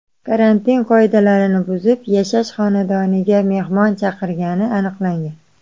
karantin qoidalarini buzib, yashash xonadoniga mehmon chaqirgani aniqlangan.